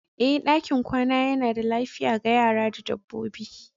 Ee, ɗakin kwana yana da lafiya ga yara da dabbobi.